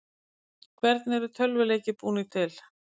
hvernig eru tölvuleikir búnir til